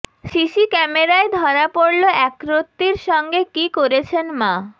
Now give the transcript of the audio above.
CC ক্যামেরায় ধরা পড়ল একরত্তির সঙ্গে কী করেছেন মা